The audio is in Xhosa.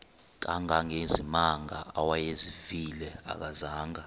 kangangezimanga awayezivile akazanga